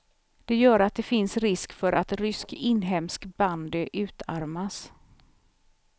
Det gör att det finns risk för att rysk inhemsk bandy utarmas.